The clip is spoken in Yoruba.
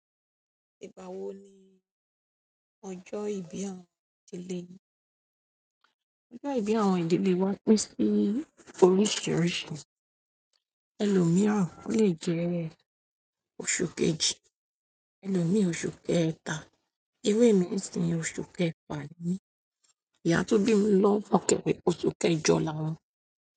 Ìgbà wo ni ọjọ́ ìbí àwọn ìdílé yín? Ọjọ́ ìbí àwọn ìdílé wa pín sí oríṣiríṣi. Ẹlòmíràn ó lè jẹ́ oṣù kejì, ẹlòmíì oṣù kẹta, iru emi sin oṣù kẹfà ni, ìyá tó bí mi lọ́kàn wí oṣù kẹjọ la won.